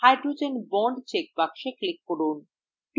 hydrogen bond check box click করুন